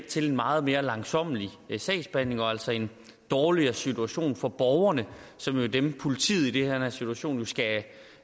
til en meget mere langsommelig sagsbehandling og altså en dårligere situation for borgerne som jo er dem politiet i den her situation skal